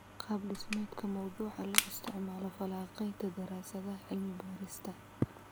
Qaab-dhismeedka mawduuca loo isticmaalo falanqaynta daraasadaha cilmi-baarista.